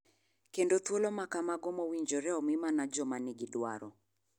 Kendo thuolo maka mago mowinjore omi mana joma ni gi dwaro.